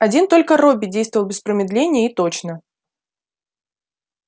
один только робби действовал без промедления и точно